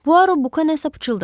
Puaro Buka nəsə pıçıldadı.